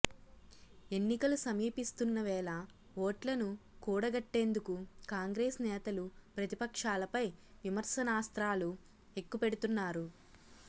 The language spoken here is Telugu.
ఎన్నికలు సమీపిస్తున్న వేళ ఓట్లను కూడగట్టేందుకు కాంగ్రెస్ నేతలు ప్రతిపక్షాలపై విమర్శనాస్త్రాలు ఎక్కుపెడుతున్నారు